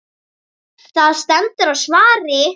Það stendur á svari.